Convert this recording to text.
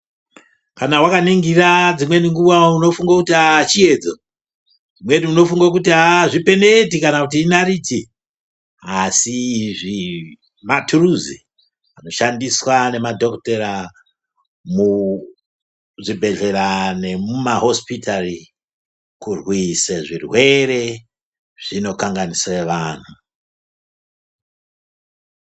Kana wakaningira dzimweni nguva unofunga kuti chiyedzo dzimweni unofunga kuti haa chipeneti kana kuti inariti asi izvi maturusi anoshandiswa nemadhokodhera muzvibhedhlera nemumahosipitari kurwisa zvirwere zvinokanganise vanhu.